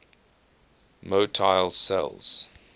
motile cells